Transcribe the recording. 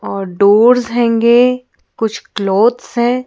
और डोर्स हैंगे कुछ क्लॉथ्स हैं।